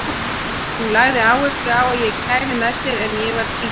Hún lagði áherslu á að ég kæmi með sér en ég var tvístígandi.